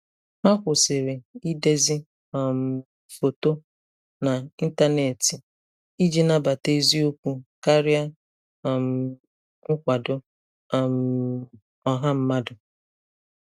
Ha kwụsịrị idezi um foto n'ịntanetị iji nabata eziokwu karịa um nkwado um ọha mmadụ.